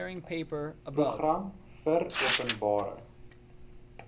program vir openbare